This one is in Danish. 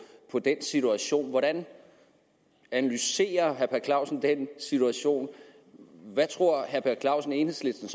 den situation hvordan analyserer herre per clausen den situation hvad tror herre per clausen enhedslisten